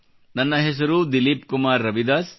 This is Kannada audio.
ನನ್ನ ಹೆಸರು ದಿಲೀಪ್ ಕುಮಾರ್ ರವಿದಾಸ್